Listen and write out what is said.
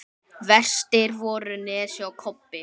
Verstir voru Nesi og Kobbi.